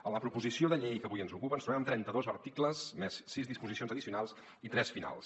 en la proposició de llei que avui ens ocupa ens trobem amb trenta dos articles més sis disposicions addicionals i tres finals